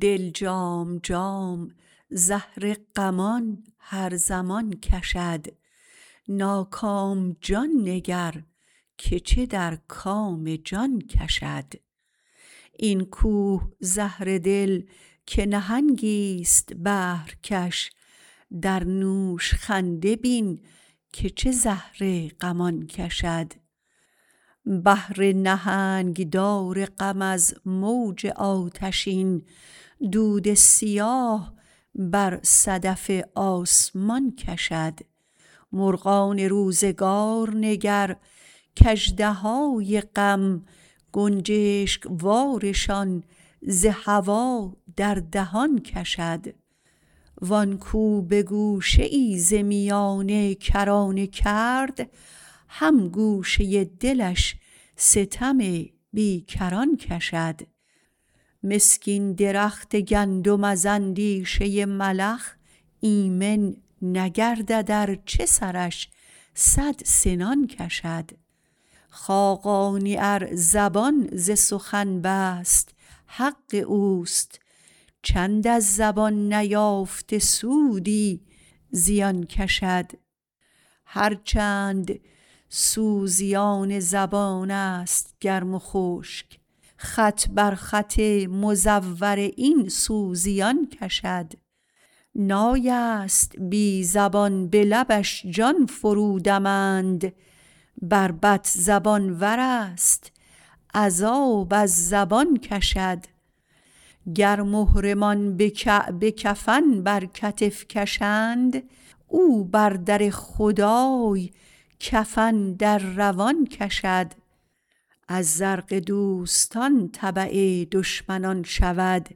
دل جام جام زهر غمان هر زمان کشد ناکام جان نگر که چه در کام جان کشد این کوه زهره دل که نهنگی است بحرکش در نوش خنده بین که چه زهر غمان کشد بحر نهنگ دار غم از موج آتشین دود سیاه بر صدف آسمان کشد مرغان روزگار نگر که اژدهای غم گنجشک وارشان ز هوا در دهان کشد وآن کو به گوشه ای ز میانه کرانه کرد هم گوشه دلش ستم بی کران کشد مسکین درخت گندم از اندیشه ملخ ایمن نگردد ارچه سرش صد سنان کشد خاقانی ار زبان ز سخن بست حق اوست چند از زبان نیافته سودی زیان کشد هرچند سوزیان زبان است گرم و خشک خط بر خط مزور این سوزیان کشد نای است بی زبان به لبش جان فرودمند بربط زبان ور است عذاب از زبان کشد گر محرمان به کعبه کفن بر کتف کشند او بر در خدای کفن در روان کشد از زرق دوستان تبع دشمنان شود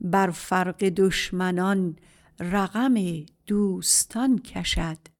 بر فرق دشمنان رقم دوستان کشد